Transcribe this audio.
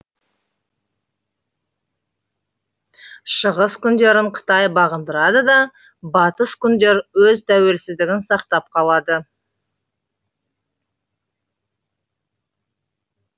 шығыс күндерін қытай бағындырады да батыс күндер өз тәуелсіздігін сақтап қалады